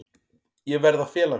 Ég verð að fela mig.